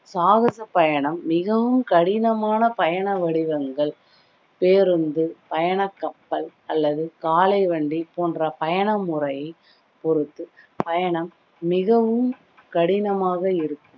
சாகச பயணம் மிகவும் கடினமான பயண வடிவங்கள், பேருந்து, பயண கப்பல், அல்லது காளை வண்டி போன்ற பயண முறை பொறுத்து பயணம் மிகவும் கடினமாக இருக்கும்